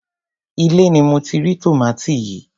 ilé ni mo ti rí tòmátì yìí.